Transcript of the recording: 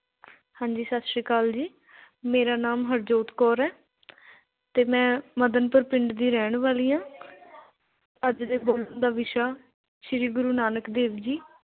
ਹਾਂਜੀ ਸਤਿ ਸ਼੍ਰੀ ਅਕਾਲ ਜੀ, ਮੇਰਾ ਨਾਮ ਹਰਜੋਤ ਕੌਰ ਹੈ ਅਤੇ ਮੈਂਂ ਮਦਨਪੁਰ ਪਿੰਡ ਦੀ ਰਹਿਣ ਵਾਲੀ ਹਾਂ। ਅੱਜ ਦੇ ਬੋਲਣ ਦਾ ਵਿਸ਼ਾ ਸ਼੍ਰੀ ਗੁਰੂ ਨਾਨਕ ਦੇਵ ਜੀ